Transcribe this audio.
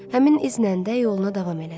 Həmin izlərlə də yoluna davam elədi.